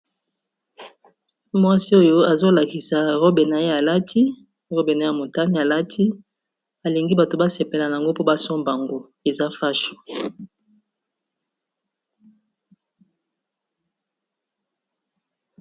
Mwasi oyo azo lakisa robe na ye alati, robe na ye ya motane alati alingi bato ba sepela nango mpo ba somba ngo eza fasho.